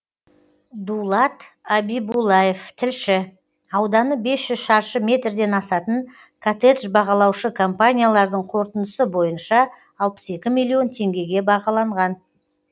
дулат абибуллаев тілші ауданы бес жүз шаршы метрден асатын коттедж бағалаушы компаниялардың қорытындысы бойынша алпыс екі миллион теңгеге бағаланған